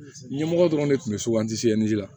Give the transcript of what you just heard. Ɲɛmɔgɔ dɔrɔn de tun bɛ la